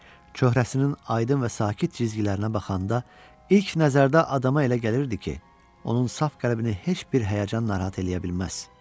Çöhrəsinin aydın və sakit cizgilərinə baxanda ilk nəzərdə adama elə gəlirdi ki, onun saf qəlbini heç bir həyəcan narahat eləyə bilməz.